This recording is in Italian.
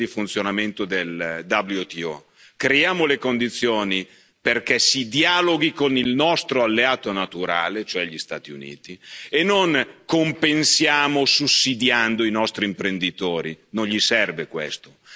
Rivediamo le regole di funzionamento del WTO, creiamo le condizioni perché si dialoghi con il nostro alleato naturale, cioè gli Stati Uniti, e non compensiamo sussidiando i nostri imprenditori.